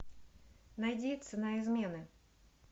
найди цена измены